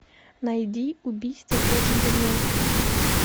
найди убийство по джентльменски